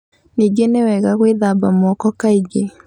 Ningĩ nĩ wega gwĩthamba moko kaingĩ.